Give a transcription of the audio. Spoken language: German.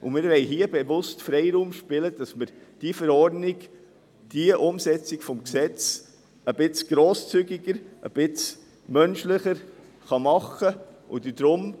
Wir wollen hier bewusst Freiraum schaffen, damit man diese Verordnung, diese Umsetzung des Gesetzes ein wenig grosszügiger, ein wenig menschlicher machen kann.